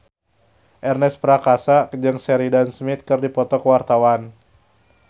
Ernest Prakasa jeung Sheridan Smith keur dipoto ku wartawan